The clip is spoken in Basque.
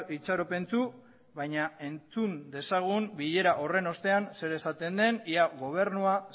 itxaropentsu baina entzun dezagun bilera horren ostean zer esaten den ia gobernua